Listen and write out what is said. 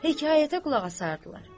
Hekayətə qulaq asardılar.